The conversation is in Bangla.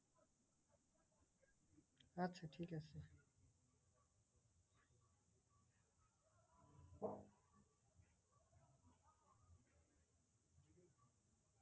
আচ্ছা ঠিকাছে।